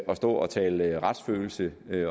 stå og tale retsfølelse